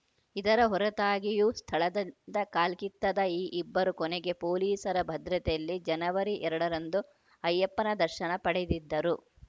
ಇದರ ಹೊರತಾಗಿಯೂ ಸ್ಥಳದದಿಂದ ಕಾಲ್ಕಿತ್ತದ ಈ ಇಬ್ಬರು ಕೊನೆಗೆ ಪೊಲೀಸರ ಭದ್ರತೆಯಲ್ಲಿ ಜನವರಿ ಎರಡರಂದು ಅಯ್ಯಪ್ಪನ ದರ್ಶನ ಪಡೆದಿದ್ದರು